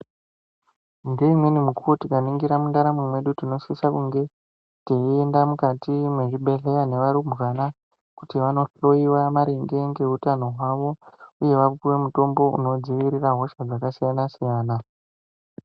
Ngeimweni mukuwo tikaningira mundaramo mwedu tinosisa kunge teienda mukati mwezvibhehleya nevarumbwana kuti vanohloyiwa maringe ngeutano hwavo. Uye vapuwe mutombo unodzivirire hosha dzakasiyana-siyana.